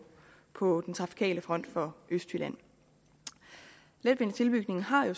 på den trafikale front for østjylland letbanetilbygningen har jo